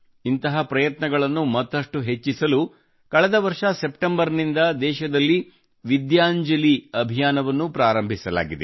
ಇಂತಹ ಪ್ರಯತ್ನಗಳನ್ನು ಮತ್ತಷ್ಟು ಹೆಚ್ಚಿಸಲು ಕಳೆದ ವರ್ಷ ಸೆಪ್ಟೆಂಬರ್ ನಿಂದ ದೇಶದಲ್ಲಿ ವಿದ್ಯಾಂಜಲಿ ಅಭಿಯಾನವನ್ನೂ ಪ್ರಾರಂಭಿಸಲಾಗಿದೆ